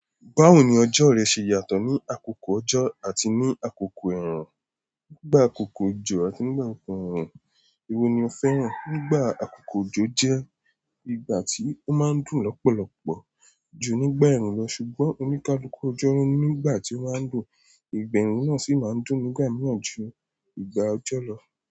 Báwo ni ọjọ́ rẹ ṣe yàtọ̀ ní àkókò ọjọ́ àti ní àkókò ẹ̀ẹ̀rùn? Nígbà àkókò òjò àti nígbà àkókò ẹ̀ẹ̀rùn, èwo ni o fẹ́ràn? Nígbà àkókò òjò jẹ́ ìgbà tí ó máa ń dùn lọ́pọ̀lọpọ̀ ju nígbà ẹ̀ẹ̀rùn lọ. Ṣùgbọ́n oníkálukú ọjọ́ ni nígbà tí o maa n dùn, ìgbà eẹ̀run náà sì máa ń dùn nígbà mìíràn ju ìgbà ọjọ́ lọ.